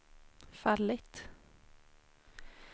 fallit